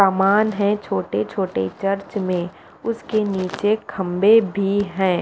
समान है छोटे छोटे चर्च में उसके नीचे खंभे भी है।